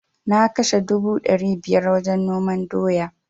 Na kashe dubu dari biyar wajen noman doya